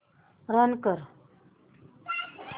run कर